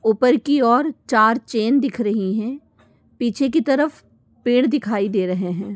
ऊपर की ओर चार चैन दिख रही है। पीछे की तरफ पेड़ दिखाई दे रहे हैं।